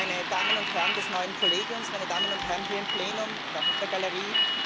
Meine Damen und Herren des neuen Kollegiums, meine Damen und Herren hier im Plenum und auf der Galerie!